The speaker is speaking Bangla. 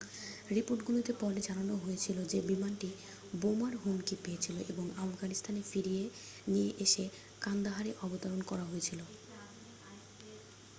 রিপোর্টটিতে পরে জানানো হয়েছিল যে বিমানটি বোমার হুমকি পেয়েছিল এবং আফগানিস্তানে ফিরিয়ে নিয়ে এসে কান্দাহারে অবতরণ করা হয়েছিল